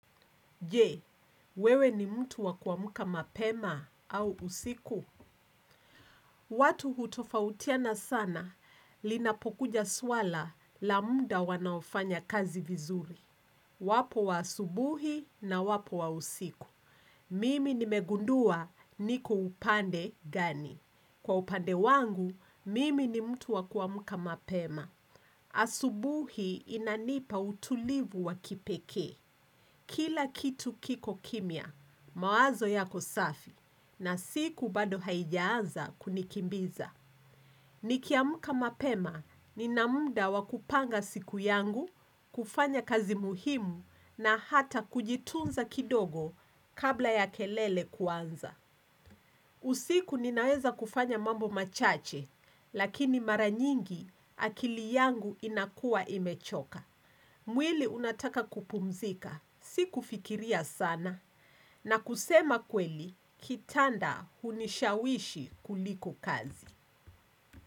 Je, wewe ni mtu wakuamuka mapema au usiku? Watu hutofautiana sana, linapokuja swala la muda wanaofanya kazi vizuri. Wapo wa asubuhi na wapo wa usiku. Mimi nimegundua niko upande gani. Kwa upande wangu, mimi ni mtu wakuamuka mapema. Asubuhi inanipa utulivu wakipeke. Kila kitu kiko kimia, mawazo yako safi na siku bado haijaanza kunikimbiza. Nikiamuka mapema, nina munda wakupanga siku yangu, kufanya kazi muhimu na hata kujitunza kidogo kabla ya kelele kuanza. Usiku ninaweza kufanya mambo machache, lakini maranyingi akili yangu inakua imechoka. Mwili unataka kupumzika, si kufikiria sana na kusema kweli kitanda unishawishi kuliko kazi.